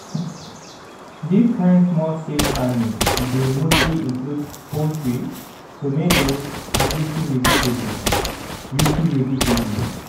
dis kind small-scale farming dey mostly include poultry tomatoes and leafy vegetables leafy vegetables